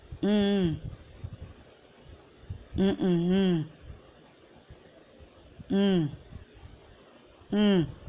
உம் உம் உம் உம் உம் உம் உம்